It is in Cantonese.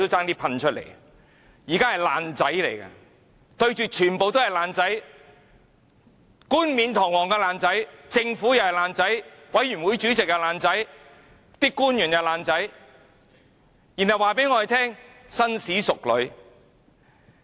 現在是"爛仔"，全部也是"爛仔"，冠冕堂皇的"爛仔"，政府是"爛仔"，法案委員會主席也是"爛仔"，官員也是"爛仔"，還說甚麼紳士淑女。